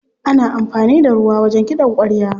Ana amfani da ruwa wajen kiɗan ƙwarya.